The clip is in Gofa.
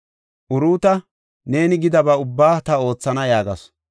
Uruuta, “Neeni gidaba ubba ta oothana” yaagasu.